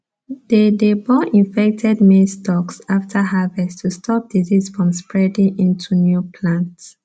they dey burn infected maize stalks after harvest to stop disease from spreading into new plants